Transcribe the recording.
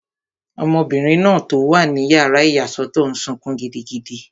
Ọmọbìnrin náà tó wà ní yàrá ìyàsọ́tọ̀ n sọkún gidigidi